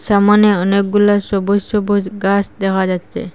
সামানে অনেকগুলা সবুজ সবুজ ঘাস দেখা যাচ্চে।